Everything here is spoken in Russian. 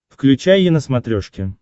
включай е на смотрешке